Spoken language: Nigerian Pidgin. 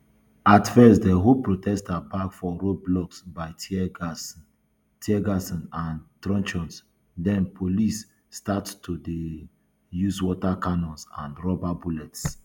at first dem hold protesters back for roadblocks by tear gas um gas um and truncheons den police start to dey um use water cannons and rubber bullets